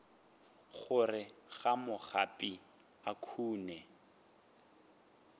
gare ga magapi a khoune